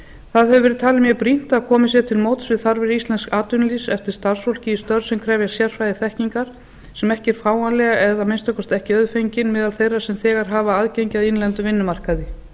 það hefur verið talið mjög brýnt að komið sé til móts við þarfir íslensks atvinnulífs eftir starfsfólki í störf sem krefjast sérfræðiþekkingar sem ekki eru fáanleg eða að minnsta kosti ekki auðfengin meðal þeirra sem þegar hafa aðgengi að innlendum vinnumarkaði